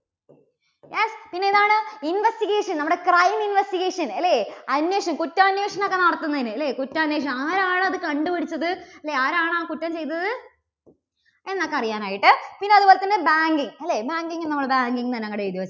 yes പിന്നെ ഏതാണ്? investigation. നമ്മുടെ crime investigation അല്ലേ? അന്വേഷണം കുറ്റാന്വേഷണം ഒക്കെ നടത്തുന്നതിന് അല്ലേ? കുറ്റാന്വേഷണം. ആരാണ് അത് കണ്ടുപിടിച്ചത്? അല്ലേ ആരാണ് ആ കുറ്റം ചെയ്തത് എന്നൊക്കെ അറിയാൻ ആയിട്ട്. പിന്നെ അതുപോലെതന്നെ banking അല്ലേ banking നമ്മള് banking എന്ന് തന്നെ അങ്ങട് എഴുതി